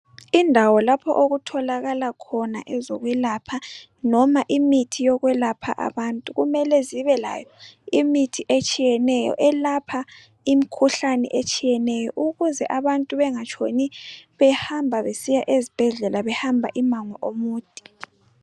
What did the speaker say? Indawo lapho okutholakala khona ezokwelapha noma imithi yokwelapha abantu kumele zibe layo imithi etshiyeneyo elapha imikhuhlane etshiyeneyo ukuze abantu bengatshoni behamba besiya ezibhedlela behamba imango omude.